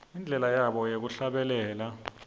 indlela yabo yekuhlabelela